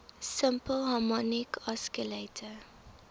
simple harmonic oscillator